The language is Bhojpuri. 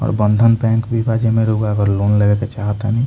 और बंधन बैंक भी बा जवन रउवा अगर लोन लेवे के चाहतानी।